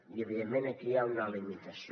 i evidentment aquí hi ha una limitació